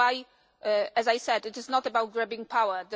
That is why, as I said, it is not about grabbing